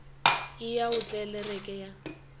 e ya go tlelereke ya